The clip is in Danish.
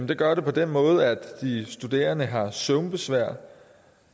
det gør det på den måde at de studerende har søvnbesvær